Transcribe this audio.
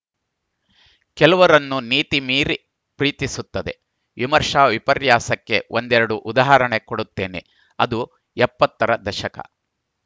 ಕೆಲವರನ್ನು ನೀತಿ ಮೀರಿ ಪ್ರೀತಿಸುತ್ತದೆ ವಿಮರ್ಶಾ ವಿಪರ್ಯಾಸಕ್ಕೆ ಒಂದೆರಡು ಉದಾಹರಣೆ ಕೊಡುತ್ತೇನೆ ಅದು ಎಪ್ಪತ್ತರ ದಶಕ